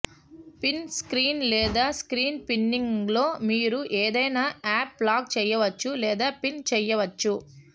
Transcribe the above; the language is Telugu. పిన్ స్క్రీన్ లేదా స్క్రీన్ పిన్నింగ్లో మీరు ఏదైనా యాప్ లాక్ చేయవచ్చు లేదా పిన్ చేయవచ్చు